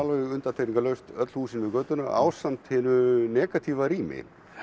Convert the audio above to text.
undantekningarlaust öll húsin við götuna ásamt hinu negatíva rými